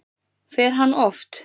Fer hann oft?